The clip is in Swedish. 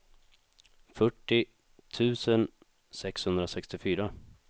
fyrtio tusen sexhundrasextiofyra